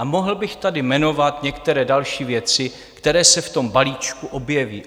A mohl bych tady jmenovat některé další věci, které se v tom balíčku objeví.